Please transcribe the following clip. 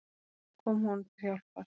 Hún kom honum til hjálpar.